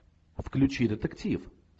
включи детектив